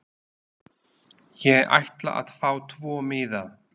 Ég ætla að fá tvo miða.